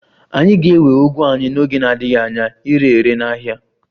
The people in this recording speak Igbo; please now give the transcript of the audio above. Anyị ga-ewe ugu anyị n'oge na-adịghị anya ire ere n'ahịa